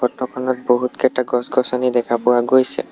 চিত্ৰখনত বহুতকেইটা গছ-গছনি দেখা পোৱা গৈছে।